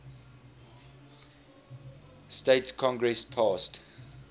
states congress passed